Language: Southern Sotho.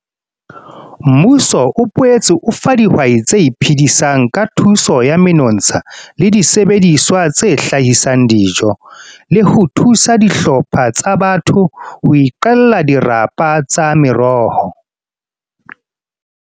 Mmuso o boetse o fa dihwai tse iphedisang ka thuso ya menotsha le disebediswa tse hlahisang dijo, le ho thusa dihlopha ka batho ho iqella dirapa tsa meroho.